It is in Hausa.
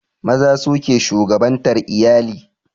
Maza su ke shugabantar iyali